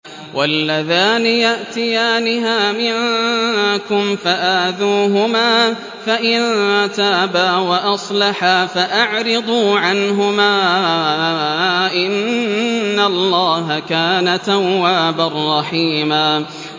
وَاللَّذَانِ يَأْتِيَانِهَا مِنكُمْ فَآذُوهُمَا ۖ فَإِن تَابَا وَأَصْلَحَا فَأَعْرِضُوا عَنْهُمَا ۗ إِنَّ اللَّهَ كَانَ تَوَّابًا رَّحِيمًا